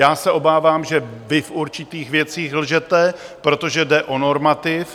Já se obávám, že vy v určitých věcech lžete, protože jde o normativ.